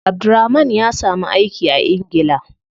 Abdulrahman ya samu aiki a ingila.